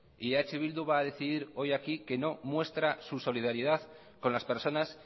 eh bildu va a decidir hoy aquí que no muestra su solidaridad con las personas